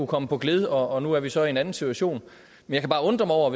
kom på gled og nu er vi så i en anden situation jeg kan bare undre mig over at